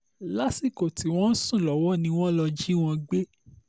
lásìkò tí wọ́n ń sùn lọ́wọ́ ni wọ́n lọ́ọ́ jí wọn gbé